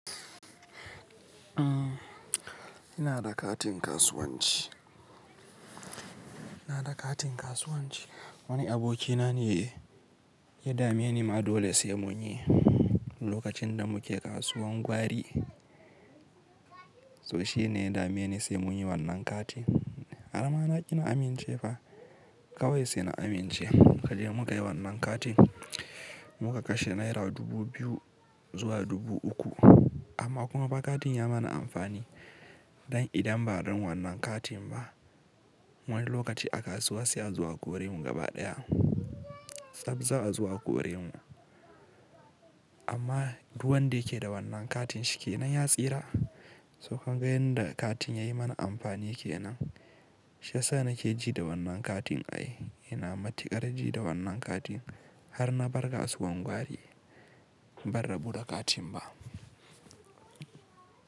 Ina da katin kasuwanci. Wani abokina ne ya dame ni ma dole sai munyi, lokacin da muke kasuwan gwari. So shi ne ya dame ni sai munyi wannan katin. Har ma naƙi na amince fa. Kawai sai na amince. Mukaje muka yi wannan katin, muka kashe naira dubu biyu zuwa dubu uku. Amma kuma ba katin ya mana amfani. Dan idan ba dan wannan katin ba, wani lokaci a kasuwa sai a zo akore mu gaba ɗaya. Tsaf za azo a kore mu. Amma duk wanda yake da wannan katin shikenan ya tsira. To ka ga yanda katin ya yi mana amfani kenan. Shiyasa nake ji da wannan katin ai. Ina matuƙar ji da wannan katin har na bar kasuwan gwari, ban rabu da katin ba.